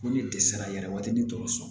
Ko ni dɛsɛra yɛrɛ waati ni dɔgɔtɔrɔso